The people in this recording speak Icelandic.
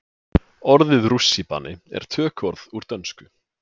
Orðið rússíbani er tökuorð úr dönsku.